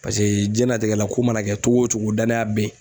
Paseke jiɲɛnatigɛ la ko mana kɛ cogo o cogo danaya bɛ ye.